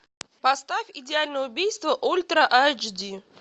поставь идеальное убийство ультра айч ди